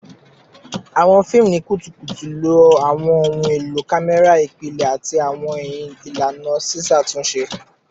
Awọn fiimu ni kutukutu lo awọn ohun elo kamẹra ipilẹ ati awọn ilana ṣiṣatunṣe